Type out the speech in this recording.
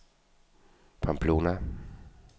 Pamplona